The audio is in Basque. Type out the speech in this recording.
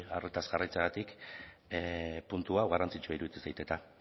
arretaz jarraitzeagatik puntu hau garrantzitsua iruditzen zait eta